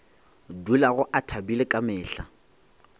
dulago a thabile ka mehla